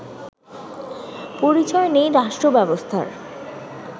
পরিচয় নেই রাষ্ট্রব্যবস্থার